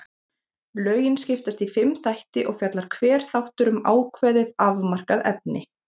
Lögin skiptast í fimm þætti og fjallar hver þáttur um ákveðið, afmarkað efni.